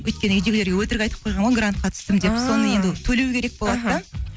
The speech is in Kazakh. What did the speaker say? өйткені үйдегілерге өтірік айтып қойғаным ғой грантқа түстім деп соны енді төлеу керек болады да